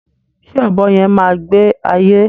Ṣé ọ̀bọ yẹn má gbé ayé